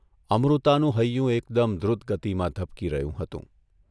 અમૃતાનું હૈયુ એકદમ દ્રુત ગતિમાં ધબકી રહ્યું હતું.